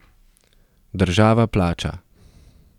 Država plača!